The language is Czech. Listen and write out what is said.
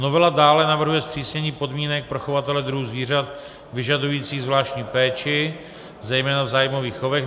Novela dále navrhuje zpřísnění podmínek pro chovatele druhů zvířat vyžadujících zvláštní péči, zejména v zájmových chovech.